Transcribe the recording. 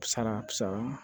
Sara sara